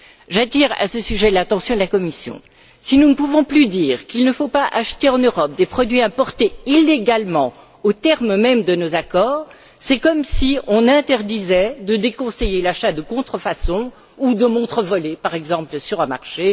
J'attire à ce sujet l'attention de la Commission si nous ne pouvons plus dire qu'il ne faut pas acheter en Europe des produits importés illégalement aux termes mêmes de nos accords, c'est comme si on interdisait de déconseiller l'achat de contrefaçons ou de montres volées, par exemple, sur un marché.